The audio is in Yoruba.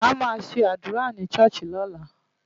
A máa ṣe àdúrà ni ṣọ́ọ̀ṣì lọ́la.